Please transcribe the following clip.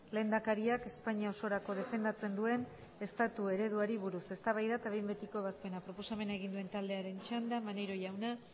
lehendakariak espainia osorako defendatzen duen estatu ereduari buruz eztabaida eta behin betiko ebazpena proposamena egin duen taldearen txanda maneiro jauna